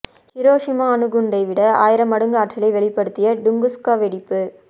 Hiroshima அணுகுண்டை விட ஆயிரம் மடங்கு ஆற்றலை வெளிப்படுத்திய டுங்குஸ்கா வெடிப்பு